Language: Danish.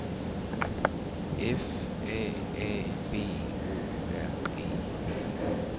F A A B O R G